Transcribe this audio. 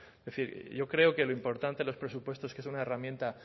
es decir yo creo que lo importante de los presupuestos que es una herramienta